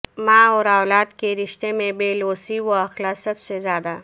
ماں اور اولاد کے رشتے میں بے لوثی و اخلاص سب سے زیادہ